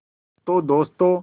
तो दोस्तों